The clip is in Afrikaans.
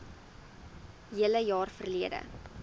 hele jaar verlede